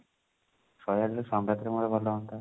ଶହେ ଆଠ ନହେଲେ ସଂଗାତ ର ମୋର ଗଲେ ହୁଅନ୍ତା